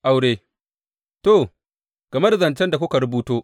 Aure To, game da zancen da kuka rubuto.